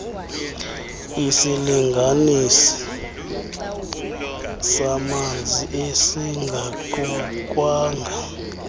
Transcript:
isilinganisi samanzi esingaqukwanga